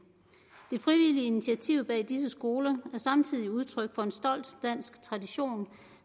det frivillige initiativ bag disse skoler er samtidig udtryk for en stolt dansk tradition